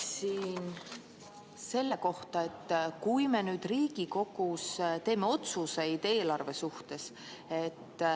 Küsin selle kohta, et me nüüd Riigikogus teeme otsuseid eelarve suhtes.